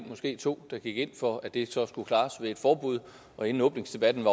måske to der gik ind for at det så skulle klares med et forbud og inden åbningsdebatten